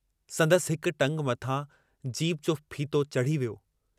संदसि हिक टंग मथां जीप जो फीथो चढ़ी वियो।